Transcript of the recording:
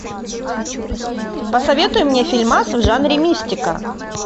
посоветуй мне фильмас в жанре мистика